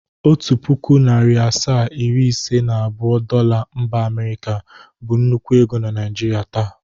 Otu pụkụ, narị asaa, iri ise na abụọ Dola mba Amịrịka bụ nnukwu ego na Naịjrịa taa.